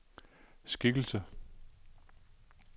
skikkelse